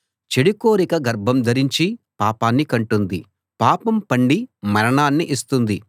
చెడు కోరిక గర్భం ధరించి పాపాన్ని కంటుంది పాపం పండి మరణాన్ని ఇస్తుంది